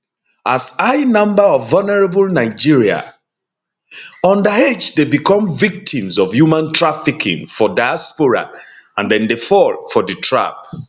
as high number of vulnerable nigeria underage dey become victims of human trafficking for diaspora and dem dey fall for di trap